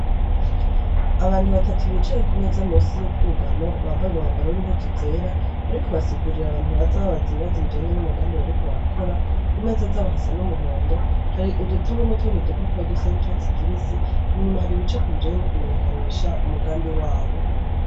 Abantu batatu bicaye ku meza munsi y'ubwugamo bambaye umwambaro w'impudu zera bariko basigurira abantu baza babaza ibibazo bijanye n'umugambi bariko barakora ku meza y'abo hasa n'umuhondo hari udutabu n' utundi dupaparo dusa n' icatsi kibisi inyuma hari ibicepo bijanye no kumenyekanisha umugambi wabo.